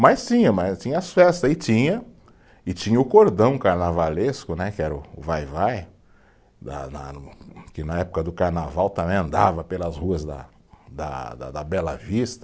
Mas tinha, mas tinha as festas, e tinha, e tinha o cordão carnavalesco né, que era o, o vai-vai, da da no, que na época do carnaval também andava pelas ruas da da da, da Bela Vista.